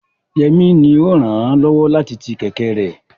Yemi ni ó ràn án lọ́wọ́ láti ti kẹ̀kẹ́ rẹ̀.